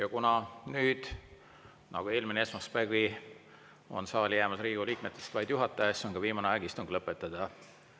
Ja kuna nüüd, nagu oli eelmine esmaspäevgi, on saali jäänud Riigikogu liikmetest vaid juhataja, siis on ka viimane aeg istung lõpetada.